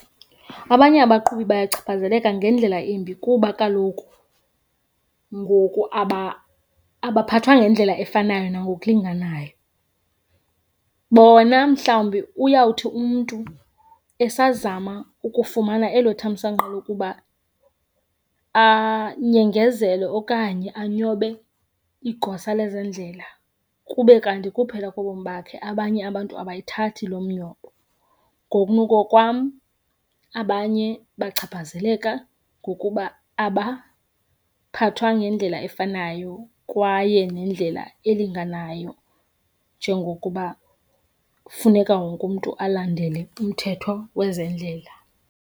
Abanye abaqhubi bayachaphazeleka ngendlela embi kuba kaloku ngoku abaphathwa ngendlela efanayo nangokulinganayo. Bona mhlawumbi uyawuthi umntu esazama ukufumana elo thamsanqa lokuba anyengezele okanye anyobe igosa lezendlela kube kanti kuphela kobomi bakhe, abanye abantu abayithathi loo mnyobo. Ngokunokokwam abanye bachaphazeleka ngokuba abaphathwa ngendlela efanayo kwaye nendlela elinganayo njengokuba kufuneka wonke umntu alandele umthetho wezendlela.